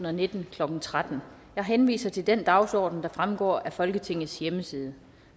og nitten klokken tretten jeg henviser til den dagsorden der fremgår af folketingets hjemmeside